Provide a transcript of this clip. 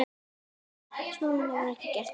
En svo var ekki gert.